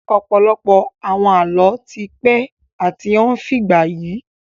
Ọ̀pọ̀lọpọ̀ àwọn Àlọ́ ti pẹ́ àti ó ń fìgbà yi